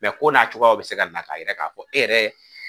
ko n'a cogoyaw bi se ka na k'a yira k'a fɔ e yɛrɛ.